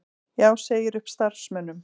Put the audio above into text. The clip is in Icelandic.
Já segir upp starfsmönnum